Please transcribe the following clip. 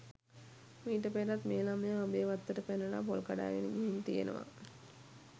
මීට පෙරත් මේ ළමයා ඔබේ වත්තට පැනලා පොල් කඩාගෙන ගිහින් තියෙනවා